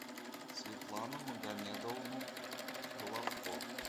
светлану магомедовну головко